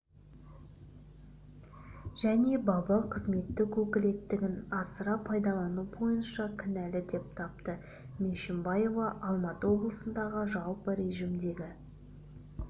және бабы қызметтік өкілеттігін асыра пайдалану бойынша кінәлі деп тапты мешімбаева алматы облысындағы жалпы режімдегі